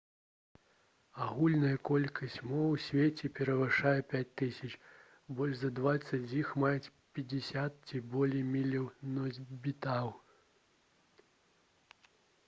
агульная колькасць моў у свеце перавышае 5000 больш за дваццаць з іх маюць 50 ці болей мільёнаў носьбітаў